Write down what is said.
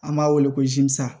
An b'a wele ko zan